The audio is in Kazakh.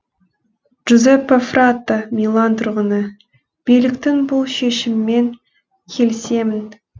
джузеппе фратто милан тұрғыны биліктің бұл шешімімен келісемін